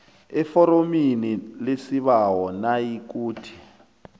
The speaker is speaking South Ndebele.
eforomini lesibawo nayikuthi